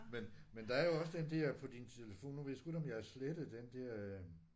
Men men der er jo også den der på din telefon nu ved jeg sgu ikke om jeg har slettet den der øh